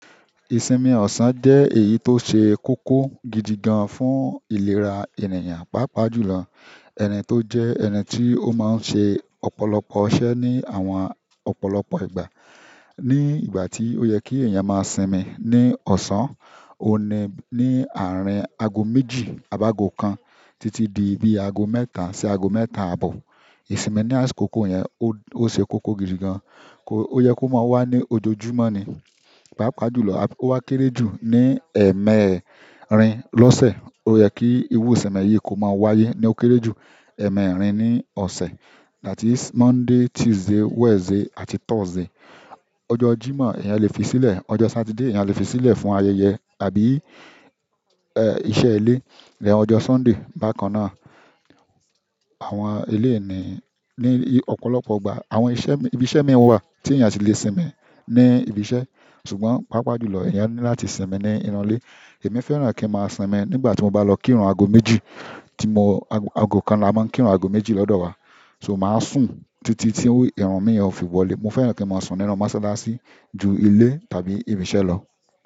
Ìsinmi ọ̀sán jẹ́ èyí tó ṣe kókó gidi gan fún ìlera ènìyàn. Pápá jùlọ, ẹni tó jẹ́ ẹni tí ó máa ń ṣe ọ̀pọ̀lọpọ̀ iṣẹ́ ní àwọn ọ̀pọ̀lọpọ̀ ìgbà. Ní ìgbà tí ó yẹ kí èèyàn máa sinmi ní ọ̀sán, ó ni ní àárín ago méjì, àbágo kan títí di ibi ago mẹ́ta sí ago mẹ́ta àbọ̀. Ìsinmi ní àsìkò kókó yẹn ó ṣe kókó gidi gan. Ó yẹ kó máa wá ní ojoojúmọ́ ni. Pápá jùlọ, ó wá kéré jù ní ẹ̀mẹrin lọ́sẹ̀. Ó yẹ kí irú ìsinmi yìí kó máa wáyé ní ó kéré jù ẹ̀mẹrin ní ọ̀sẹ̀ láti Monday, Tuesday, Wednesday àti Thursday. Ọjọ́ Jímọ̀, èèyàn lè fi sílẹ̀. Ọjọ́ Saturday èèyàn lè fi sílẹ̀ fún ayẹyẹ àbí iṣẹ́ ilé. Ọjọ́ Sunday bákan náà, àwọn ilé ìní ní ọ̀pọ̀lọpọ̀ ìgbà àwọn ibi iṣẹ́ mi wà tí èèyàn ti lè sinmi ní ibi iṣẹ́. Ṣùgbọ́n, pápá jùlọ èèyàn ní láti sinmi ní inú ile. Èmi fẹ́ràn kí n máa sinmi nígbà tí mo bá lọ kírun ago méjì tí ago kan la máa ń kírun ago méjì lọ́dọ̀ wa. So màá sùn títí tí irun mi yẹn ó fi wọlé. Mo fẹ́ràn kí n máa sùn nínú mọ́sálásí ju ilé tàbí ibi iṣẹ́ lọ.